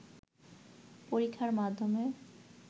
পরীক্ষার মাধ্যমে